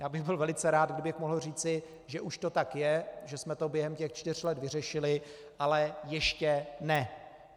Já bych byl velice rád, kdybych mohl říci, že už to tak je, že jsme to během těch čtyř let vyřešili, ale ještě ne.